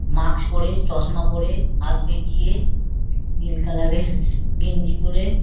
মাক্স পরে চশমা পরে হাত বেঁকিয়ে নীল কালার -এর গেঞ্জি পরে--